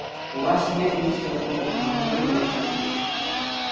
у вас нет мистер робот а у него есть